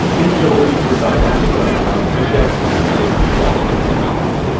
Sizcə o indi sağlamlığın hansı şərtinə əməl etdiyi barədə bizə məlumat verir?